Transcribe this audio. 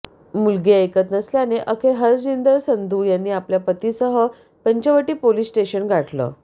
मुलगी ऐकत नसल्याने अखेर हरजिंदर संधू यांनी आपल्या पतीसह पंचवटी पोलीस स्टेशन गाठलं